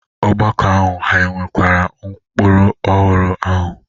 Ọgbakọ ahụ hà nakweere ụkpụrụ ọhụrụ ahụ?